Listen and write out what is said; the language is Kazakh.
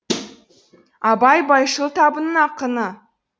абай байшыл табының ақыны